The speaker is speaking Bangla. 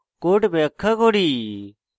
code ব্যাখ্যা করি